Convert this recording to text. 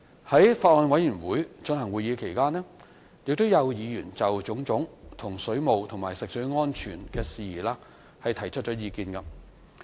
在法案委員會進行會議期間，有議員就種種水務和食水安全事宜提出意見。